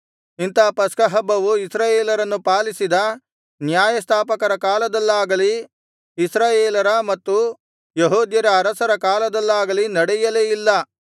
ಇಂಥ ಪಸ್ಕಹಬ್ಬವು ಇಸ್ರಾಯೇಲರನ್ನು ಪಾಲಿಸಿದ ನ್ಯಾಯಸ್ಥಾಪಕರ ಕಾಲದಲ್ಲಾಗಲಿ ಇಸ್ರಾಯೇಲರ ಮತ್ತು ಯೆಹೂದ್ಯರ ಅರಸರ ಕಾಲದಲ್ಲಾಗಲಿ ನಡೆಯಲೇ ಇಲ್ಲ